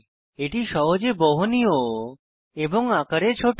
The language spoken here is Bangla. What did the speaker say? এটি সহজে বহনীয় এবং আকারে ছোট